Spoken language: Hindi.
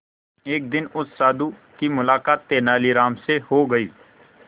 एक दिन उस साधु की मुलाकात तेनालीराम से हो गई